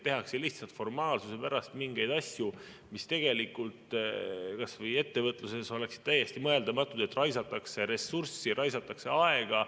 Tehakse lihtsalt formaalsuse pärast mingeid asju, mis tegelikult kas või ettevõtluses oleksid täiesti mõeldamatud, et raisatakse ressurssi, raisatakse aega.